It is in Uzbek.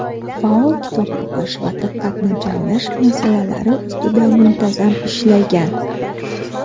faol kitob o‘qish va diqqatni jamlash masalalari ustida muntazam ishlagan.